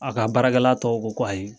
A ka baara tɔw ko ko ayi.